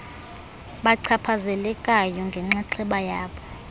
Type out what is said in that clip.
bachaphazelekayo ngenxaxheba yabo